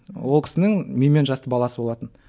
ол кісінің менімен жасты баласы болатын